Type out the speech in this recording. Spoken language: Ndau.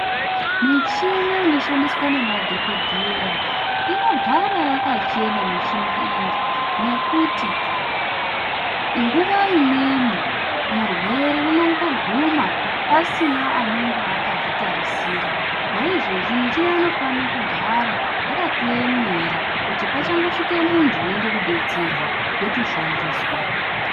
Muchina inoshandiswa nemadhokhodheya unogara yakachena muchina iyi nekuti nguwa imweni murwere unongoguma asina anenge akazvitarisira izvezvi muchina inofana kugara yakatoemera kuti pachangosvika muntu unoda kudetserwa yotoshandiswa.